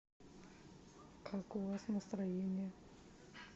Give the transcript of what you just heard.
как у вас настроение